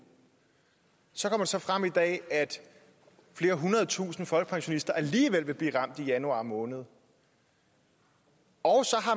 så kommer det så frem i dag at flere hundrede tusinde folkepensionister alligevel vil blive ramt i januar måned og